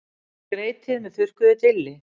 Skreytið með þurrkuðu dilli.